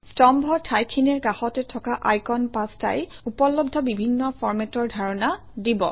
স্তম্ভৰ ঠাইখিনিৰ কাষতে থকা আইকন পাঁচটাই উপলব্ধ বিভিন্ন ফৰমেটৰ ধাৰণা দিব